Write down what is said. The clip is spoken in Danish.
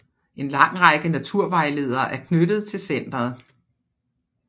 En lang række naturvejledere er knyttet til centeret